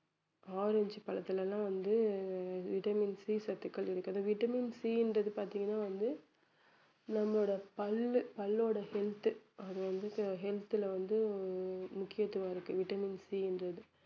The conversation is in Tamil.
ஆரஞ்சு பழத்தில எல்லாம் வந்து vitamin C சத்துக்கள் இருக்குது vitamin C ன்றது பாத்தீங்கன்னா வந்து நம்மளோட பல்லு பல்ளோட health அது வந்து he~ health ல வந்து முக்கியத்துவம் இருக்கு vitamin C ன்றது